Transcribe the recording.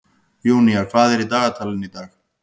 Júnía, hvað er í dagatalinu í dag?